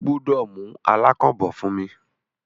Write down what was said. O gbúdọ̀ mú “alákàn” bọ̀ fún mí!